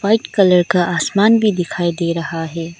White colour का आसमान भी दिखाई दे रहा है।